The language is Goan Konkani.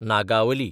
नागावली